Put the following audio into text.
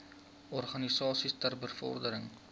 organisasies ter bevordering